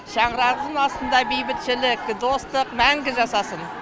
шаңырағымыздың астында бейбітшілік достық мәңгі жасасын